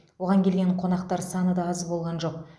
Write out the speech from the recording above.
оған келген қонақтар саны да аз болған жоқ